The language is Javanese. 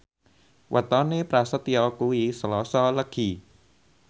wetone Prasetyo kuwi Selasa Legi